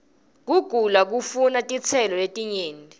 kugula kufuna titselo ietinyenti